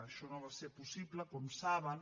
això no va ser possible com saben